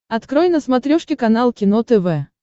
открой на смотрешке канал кино тв